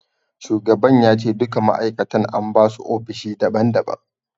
Shugaban ya ce duka ma'aikatan an basu ofishi daban daban.